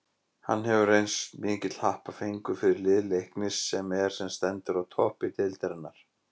Hann hefur reynst mikill happafengur fyrir lið Leiknis sem er sem stendur á toppi deildarinnar.